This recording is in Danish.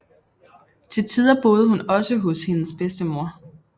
Til tider boede hun også hos hendes bedstemor